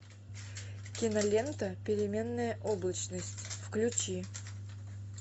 кинолента переменная облачность включи